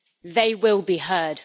They will be heard.